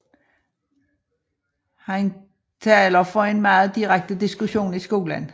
Han taler for en meget direkte diskussion i skolen